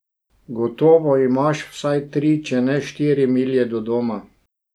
Gotovo imaš vsaj tri, če ne štiri milje do doma.